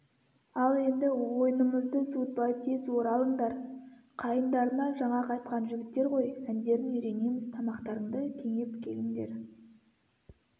ал енді ойнымызды суытпай тез оралыңдар қайындарынан жаңа қайтқан жігіттер ғой әндерін үйренеміз тамақтарыңды кенеп келіңдер